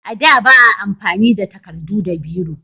A da ba a amfani da takardu da biro